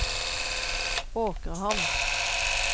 Åkrehamn